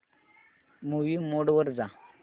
movie mode वर जा